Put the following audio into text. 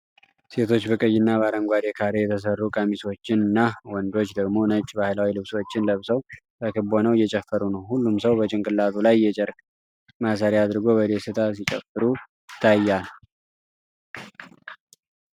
ሴቶች በቀይና በአረንጓዴ ካሬ የተሰሩ ቀሚሶችን እና ወንዶች ደግሞ ነጭ ባህላዊ ልብሶችን ለብሰው በክብ ሆነው እየጨፈሩ ነው። ሁሉም ሰው በጭንቅላቱ ላይ የጨርቅ ማሰሪያ አድርጎ በደስታ ሲጨፍሩ ይታያል።